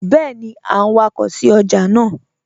Bẹẹni a n wakọ sí ọjà naa